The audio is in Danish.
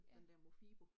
Ja